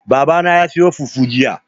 Baba na ya sayo fufu jiya.